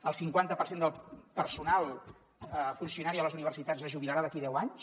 el cinquanta per cent del personal funcionari a les universitats es jubilarà d’aquí a deu anys